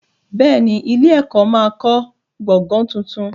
Bẹ́ẹ̀ ni, ilé-ẹ̀kọ́ máa kọ́ gbọ̀gàn tuntun.